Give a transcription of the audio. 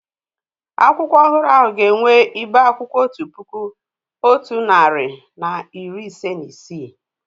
Akwụkwọ ọhụrụ ahụ ga-enwe ibe akwụkwọ otu puku, otu narị na iri ise na isii